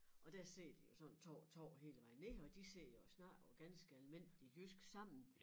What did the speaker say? Og der sidder de jo sådan 2 og 2 hele vejen ned og de sidder og snakker på ganske almindelig jysk sammen